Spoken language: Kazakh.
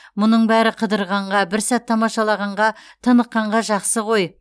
мұның бәрі қыдырғанға бір сәт тамашалағанға тыныққанға жақсы ғой